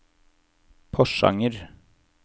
Porsanger